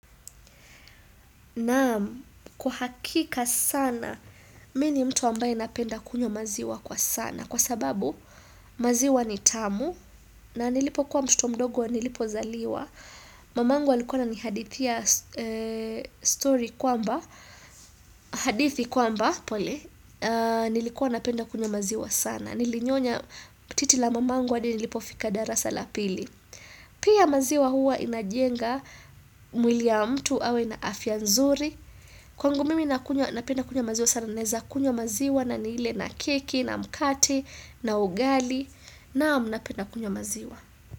Naa kwa hakika sana, mi ni mtu ambaye napenda kunywa maziwa kwa sana. Kwa sababu maziwa ni tamu na nilipokuwa mtoto mdogo nilipozaliwa. Mamangu alikuwa ananihadithi story kwamba hadithi kwamba pole, nilikuwa napenda kunywa maziwa sana. Nilinyonya titi la mamangu hadi nilipofika darasa la pili. Pia maziwa huwa inajenga mwili ya mtu awe na afya nzuri Kwangu mimi nakunywa napenda kunywa maziwa sana naeza kunywa maziwa na nile na keki na mkate na ugali naam napensa kunywa maziwa.